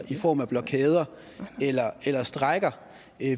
i form af blokader eller eller strejker